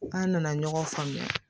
An nana ɲɔgɔn faamuya